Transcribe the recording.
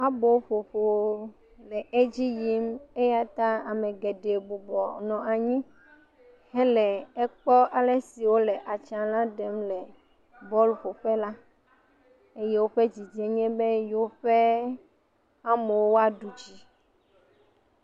abó ƒoƒo nɔ edziyim eyata amegeɖe bubɔ nɔ anyi hɛlɛ ekpɔ alesi wolɛ atsã la ɖem le bɔl ƒoƒe la eye wóƒɛ dzidzie nye be yewoƒe amewo na ɖudzi